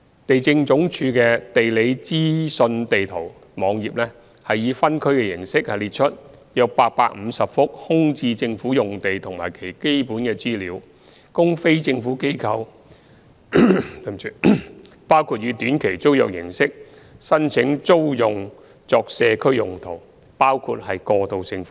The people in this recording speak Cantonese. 地政總署的"地理資訊地圖"網頁以分區形式列出約850幅空置政府用地及其基本資料，供非政府機構考慮以短期租約形式申請租用作社區用途，包括過渡性房屋。